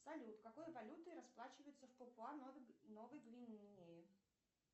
салют какой валютой расплачиваются в папуа новой гвинеи